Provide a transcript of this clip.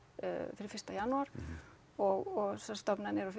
fyrsta janúar og sem sagt stofnanir og